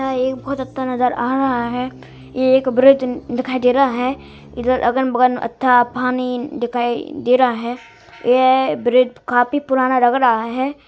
यहाँ एक बहुत अत्ता नज़र आ रहा है | ये एक ब्रिज दिखाई दे रहा है | ईधर अगन बगन अथाह पानी दिखाई दे रहा है ये ब्रिज काफी पुराना लग रहा है |